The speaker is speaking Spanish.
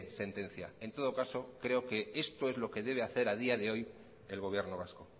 sentencia en todo caso creo que esto es lo que debe hacer a día de hoy el gobierno vasco